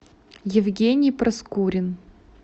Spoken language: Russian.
евгений проскурин